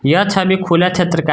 यह छवि खुला छत्र का--